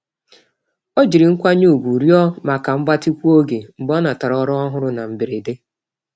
Ọ jiri nkwanye ùgwù rịọ maka mgbatịkwu-oge mgbe ọ natara ọrụ ọhụrụ na mberede.